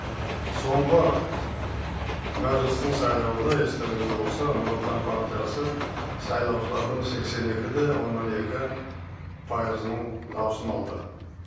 соңғы мәжілістің сайлауында естеріңізде болса нұр отан партиясы сайлаушылардың сексен екі де оннан екі пайызының даусын алды